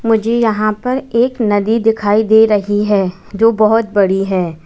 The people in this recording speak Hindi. मुझे यहां पर एक नदी दिखाई दे रही है जो बहोत बड़ी है।